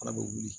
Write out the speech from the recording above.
Fana bɛ wuli